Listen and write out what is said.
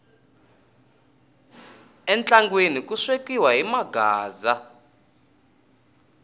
entlangwini ku swekiwa hi maghaaza